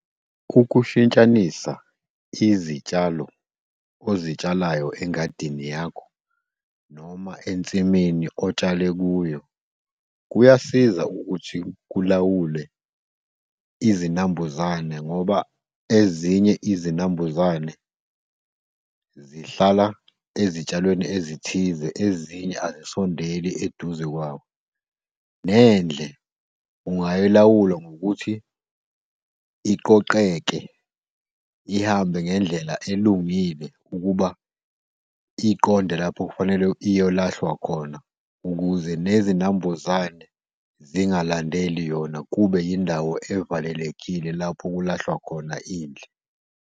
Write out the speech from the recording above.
Ukushintshanisa izitshalo ozitshalayo engadini yakho noma ensimini otshale kuyo, kuyasiza ukuthi kulawule izinambuzane, ngoba ezinye izinambuzane zihlala ezitshalweni ezithize, ezinye azisondeli eduze kwawo. Nendle ungayilawulwa ngokuthi iqoqeke, ihambe ngendlela elungile, ukuba iqonde lapho kufanele iyolahlwa khona, ukuze nezinambuzane zingalandeli yona. Kube indawo evalelekile lapho kulahlwa khona indle.